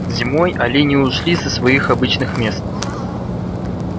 зимой олени ушли со своих обычных мест